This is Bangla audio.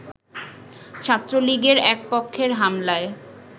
ছাত্রলীগের এক পক্ষের হামলায়